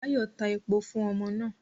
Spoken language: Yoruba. Bayo ta epo fun omo naa